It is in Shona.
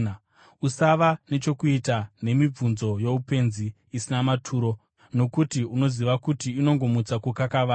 Usava nechokuita nemibvunzo youpenzi isina maturo, nokuti unoziva kuti inongomutsa kukakavara.